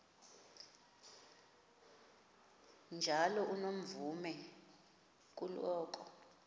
njalo unomvume kuloko